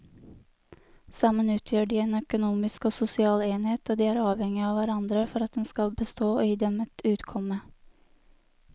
Sammen utgjør de en økonomisk og sosial enhet og de er avhengige av hverandre for at den skal bestå og gi dem et utkomme.